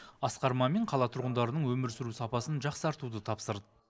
асқар мамин қала тұрғындарының өмір сүру сапасын жақсартуды тапсырды